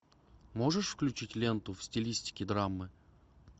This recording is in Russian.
можешь включить ленту в стилистике драмы